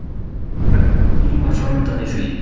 Svo það eru spennandi tímar framundan í því.